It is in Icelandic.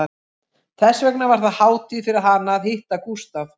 Þess vegna var það hátíð fyrir hana að hitta Gústaf